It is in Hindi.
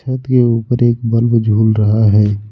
छत के ऊपर एक बल्ब झूल रहा है।